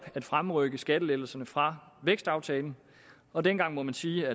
at fremrykke skattelettelserne fra vækstaftalen og dengang må man sige